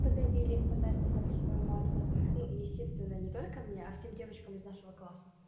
подарили подарки на восьмое марта ну естественно не только мне а всем девочкам из нашего класса